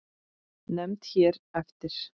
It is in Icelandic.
Nefnd hér eftir